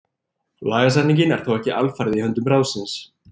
Lagasetningin er þó ekki alfarið í höndum ráðsins.